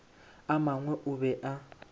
a mangwe o be a